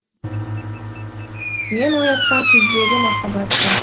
мен оятқан күздегі махаббат бар